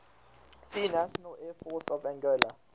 see national air force of angola